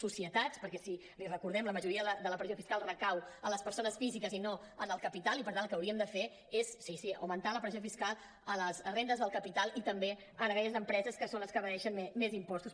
societats perquè li recordem la majoria de la pressió fiscal recau en les persones físiques i no en el capital i per tant el que hauríem de fer és sí sí augmentar la pressió fiscal a les rendes del capital i també a aquelles empreses que són les que evadeixen més impostos